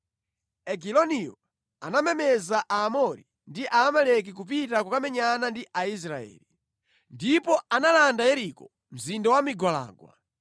Egiloniyo anamemeza Aamori ndi Aamaleki kupita kukamenyana ndi Israeli, ndipo analanda Yeriko, mzinda wa migwalangwa.